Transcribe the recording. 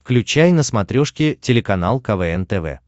включай на смотрешке телеканал квн тв